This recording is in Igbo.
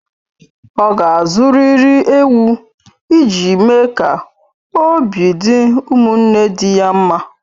Ọ ga-azụrịrị ewu ị ji mee ka obi dị ụmụnne di ya mma